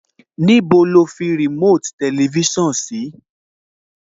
Níbo ni o fi remote tẹlifísàn sí?